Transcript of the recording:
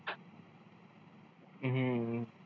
हम्म